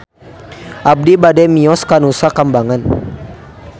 Abi bade mios ka Nusa Kambangan